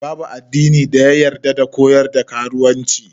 Babu addini da ya koyar da karuwanci.